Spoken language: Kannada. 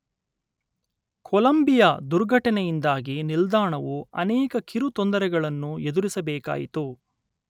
ಕೊಲಂಬಿಯ ದುರ್ಘಟನೆಯಿಂದಾಗಿ ನಿಲ್ದಾಣವು ಅನೇಕ ಕಿರು ತೊಂದರೆಗಳನ್ನು ಎದುರಿಸಬೇಕಾಯಿತು